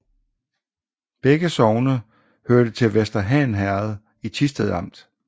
Begge sogne hørte til Vester Han Herred i Thisted Amt